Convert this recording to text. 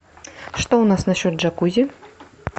что у нас на счет джакузи